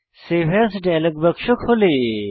save as dialog বাক্স খোলে